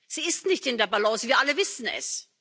Sie ist nicht in der Balance, wir alle wissen es.